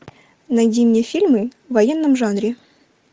найди мне фильмы в военном жанре